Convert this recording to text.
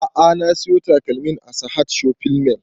A'a na siyo takalmin a sahad shopping mall